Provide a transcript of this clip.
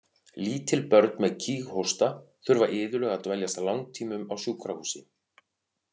Lítil börn með kíghósta þurfa iðulega að dveljast langtímum á sjúkrahúsi.